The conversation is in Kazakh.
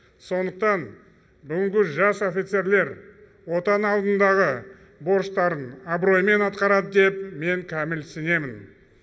сондықтан бүгінгі жас офицерлер отан алдындағы борыштарын абыроймен атқарады деп мен кәміл сенемін